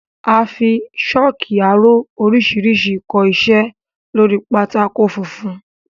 A fi sọ́ọ́kì aró oríṣiríṣi kọ iṣẹ́ lóri pátákó funfun.